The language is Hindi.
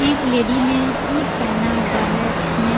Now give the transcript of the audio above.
एक लेडी ने सूट पहना हुआ है जिसने--